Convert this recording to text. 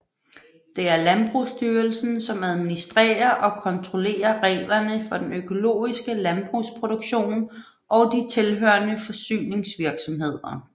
Det er Landbrugsstyrelsen som administrerer og kontrollerer reglerne for den økologiske landbrugsproduktion og de tilhørende forsyningsvirksomheder